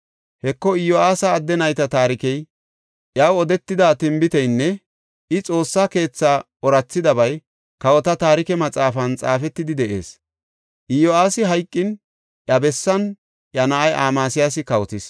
Heko, Iyo7aasa adde nayta taarikey, iyaw odetida tinbiteynne I Xoossa keethaa oorathidabay kawota taarike maxaafan xaafetidi de7ees. Iyo7aasi hayqin iya bessan iya na7ay Amasiyaasi kawotis.